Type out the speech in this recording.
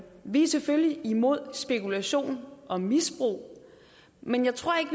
vi er selvfølgelig imod spekulation og misbrug men jeg tror ikke